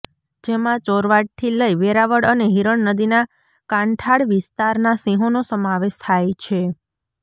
જેમા ચોરવાડથી લઇ વેરાવળ અને હીરણ નદીના કાંઠાળ વિસ્તારના સિંહોનો સમાવેશ થાય છે